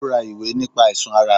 Ó ra ìwé nípa àìsàn ara